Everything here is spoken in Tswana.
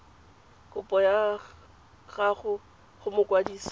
kopo ya gago go mokwadise